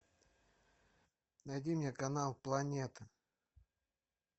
найди мне канал планета